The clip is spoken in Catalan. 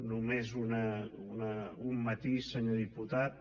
només un matís senyor diputat